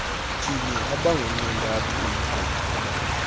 phinye abangunxantathu umgobo